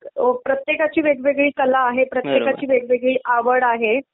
प्रत्येकाची वेगवेगळी कला आहे, प्रत्येकाची वेगळी आवड आहे.